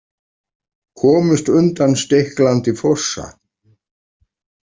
Komust undan stiklandi fossa.